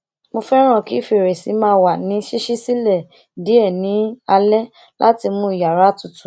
mo fẹràn kí fèrèsé máa wà ní ṣiṣi silẹ diẹ ní alé láti mú iyàrá tutù